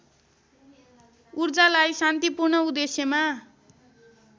ऊर्जालाई शान्तिपूर्ण उद्देश्यमा